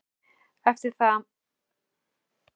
Eftir það voru honum boðin náðarmeðulin sem hann þáði.